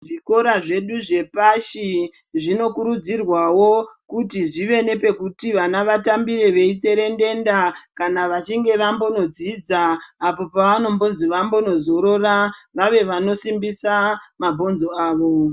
Zvikoro zvedu zvepashi zvinokurudzirwawo kuti zvive nepekuti vana vatambire veitserendenda kana vechinge vambodzidza kuti pavanonzi vambonozorora vave vanosimbisa mabhonzo avo